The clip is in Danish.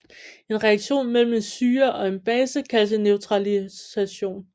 En reaktion mellem en syre og en base kaldes en neutralisation